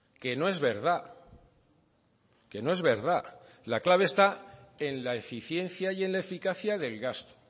que no es verdad que no es verdad la clave está en la eficiencia y en la eficacia del gasto